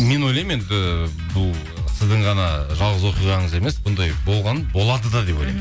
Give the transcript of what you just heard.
мен ойлаймын енді бұл сіздің ғана жалғыз оқиғаңыз емес бұндай болған болады да деп ойлаймын